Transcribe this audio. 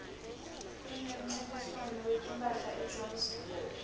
kunemncintiswano wetimphahla ejozi